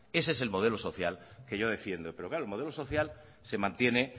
ese es el modelo social que yo defiendo pero el modelo social se mantiene